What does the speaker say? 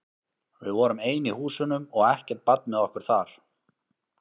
Við vorum ein í húsunum og ekkert barn með okkur þar.